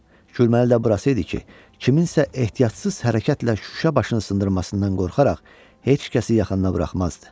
Gürməli də burası idi ki, kiminsə ehtiyatsız hərəkətlə şüşə başını sındırmasından qorxaraq, heç kəsi yaxına buraxmazdı.